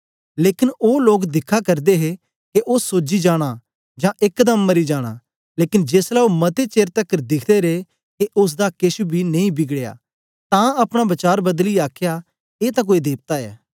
लेकन ओ लोक दिखा करदे हे के ओ सोजी जाना जां एकदम मरी जाना लेकन जेसलै ओ मते चेर तकर दिखदे रे के ओसदा केछ बी नेई बिगड़या तां अपना वचार बदलीयै आखया ए तां कोई देवता ऐ